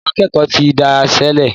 Àwọn akékòó tí dáiṣélè.